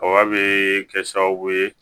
a bɛ kɛ sababu ye